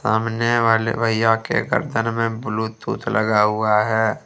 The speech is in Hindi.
सामने वाले भैया के गर्दन में ब्लूटूथ लगा हुआ है।